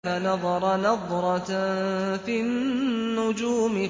فَنَظَرَ نَظْرَةً فِي النُّجُومِ